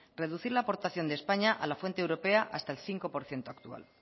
reducir la aportación de españa a la fuente europea hasta el cinco por ciento actual